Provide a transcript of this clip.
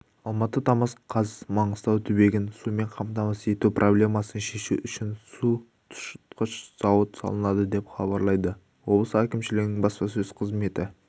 алматы тамыз қаз маңғыстау түбегін сумен қамтамасыз ету проблемасын шешу үшін су тұщытқыш зауыт салынады деп хабарлады облыс әкімшілігінің баспасөз қызметі